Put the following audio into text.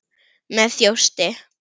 Með þjósti.